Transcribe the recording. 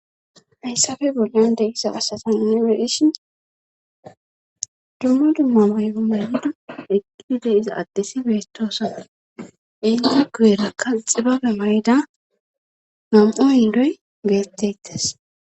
hayssafe bolyon degiza asatan ni weeshin dumma dumma may7o mayda eqqi deiza addisi beetoosa inde guyerakka xibabe mayida mam7o yindoy geettettas